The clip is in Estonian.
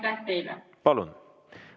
Palun!